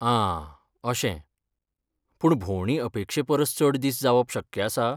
आं अशें, पूण भोंवडी अपेक्षे परस चड दीस जावप शक्य आसा?